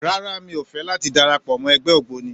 Rárá, mi ò fẹ́ láti darapọ̀ mọ́ ẹgbẹ́ ògbóni.